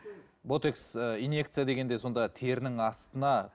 ботокс ы инекция дегенде сонда терінің астына